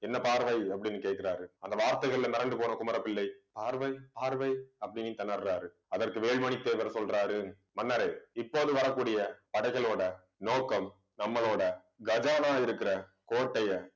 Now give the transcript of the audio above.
என்ன பார்வை அப்படின்னு கேட்கிறாரு. அந்த வார்த்தைகள்ல மிரண்டு போன குமரப்பிள்ளை. பார்வை பார்வை அப்படின்ட்டு திணறாரு அதற்கு வேல்மணி தேவர் சொல்றாரு மன்னரே இப்போது வரக்கூடிய படைகளோட நோக்கம் நம்மளோட கஜானா இருக்கிற கோட்டையை